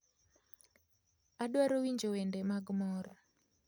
Adwaro winjo wende mag mor